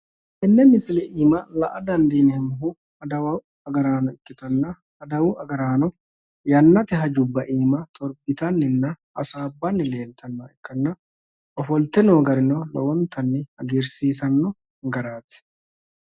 tenne misile aana la''a dandiineemmohu adawu agaano ikkitanna adawu agaraano yannate hajubba aana corqitanni hasaabbanninna nooha ikkanna ofolte noo garino lowontanni hagiirsiisanno garaati.